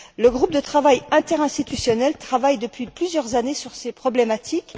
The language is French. Le groupe de travail interinstitutionnel travaille depuis plusieurs années sur ces problématiques.